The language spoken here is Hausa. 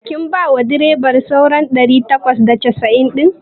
Kin bawa direban sauran ɗari takwas da casa'in ɗin?